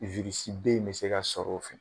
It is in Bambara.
b in mɛ se ka sɔrɔ o fɛ